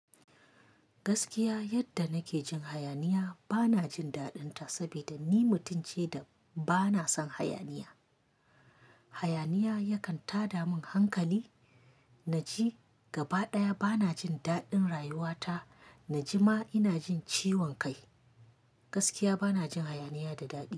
Gaskiya yadda nake jin hayaniya bana jin daɗin ta saboda ni mutum ce da bana son hayaniya. Hayaniya yakan tada min hankali. Naji gaba ɗaya bana jin daɗin rayuwa ta, naji ma ina jin ciwon kai. Gaskiya bana jin hayaniya da daɗi.